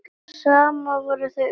Saman voru þau ótrúleg hjón.